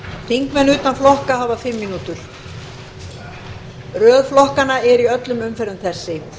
þingmenn utan flokka hafa fimm mínútur röð flokkanna er í öllum umferðum þessi